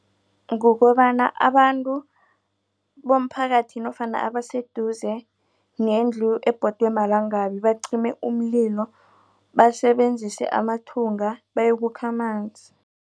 Kukobana abantu bomphakathi nofana abaseduze nendlu ebhodwe malanga bacime umlilo basebenzise amathunga bayokukha amanzi.